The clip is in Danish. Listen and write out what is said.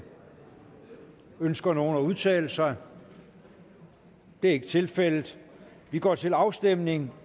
ønsker nogen at udtale sig det er ikke tilfældet og vi går til afstemning